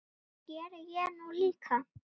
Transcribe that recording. Það geri ég nú líka.